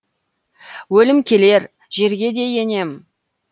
өлім келер жерге де енем